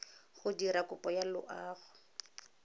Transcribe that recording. go dira kopo ya loago